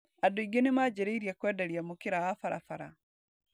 And aingĩ nĩmanjĩrĩirie kwenderia mukĩra wa barabara.